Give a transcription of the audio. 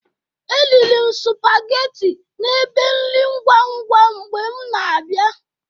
Eriri m sụpagetị n'ebe nri ngwangwa mgbe m na-abia.